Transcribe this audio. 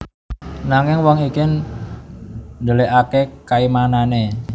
Nanging wong iki ndhelikaké kaimanané